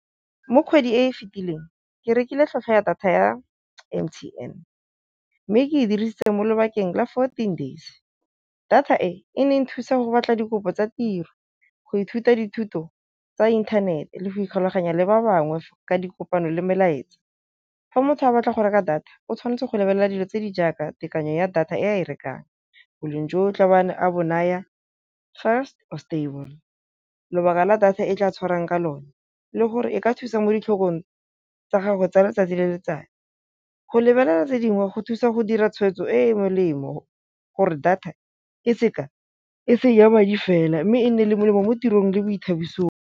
Mo kgwedi e e fetileng ke rekile tlhwatlhwa data ya M_T_N, mme ke e dirisitse mo lobakeng la fourteen days. Data e ne e nthusa go batla dikopo tsa tiro, go ithuta dithuto tsa inthanete le go ikgulaganya le ba bangwe ka dikgopelo le melaetsa. Fa motho a batla go reka data o tshwanetse go lebelela dilo tse di jaaka tekanyo ya data e a e rekang, boleng jo tla beng a bo naya fast or stable, lobaka la data e tla tshwarang ka lone le gore e ka thusa mo ditlhong tsa gagwe tsa letsatsi le letsatsi. Go lebelela tse dingwe go thusa go dira tshwetso e e molemo gore data e se ka e se ja madi fela mme e nne le molemo mo tirong le boithabiso.